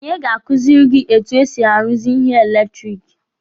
Onye ga-kuziri gị etu e si aruzi ihe eletiriki?